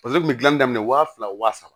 kun bɛ gilan daminɛ waa fila waa saba